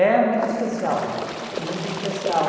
É muito especial, muito especial.